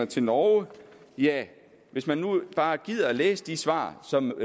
til norge ja hvis man nu bare gider at læse de svar som